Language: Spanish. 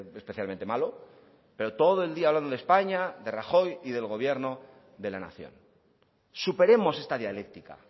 especialmente malo pero todo el día hablando de españa de rajoy y del gobierno de la nación superemos esta dialéctica